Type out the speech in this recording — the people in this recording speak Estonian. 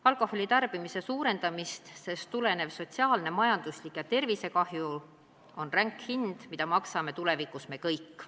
Alkoholitarbimise suurenemisest tulenev sotsiaalne, majanduslik ja tervisekahju on aga ränk hind, mida maksame tulevikus me kõik.